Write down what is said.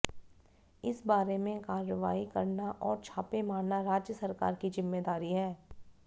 इस बारे में कार्रवाई करना और छापे मारना राज्य सरकार की जिम्मेदारी है